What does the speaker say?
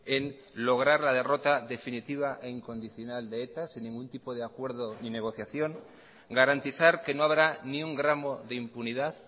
en lograr la derrota definitiva e incondicional de eta sin ningún tipo de acuerdo ni negociación garantizar que no habrá ni un gramo de impunidad